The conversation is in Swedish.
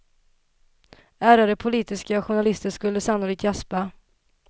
Ärrade politiska journalister skulle sannolikt gäspa.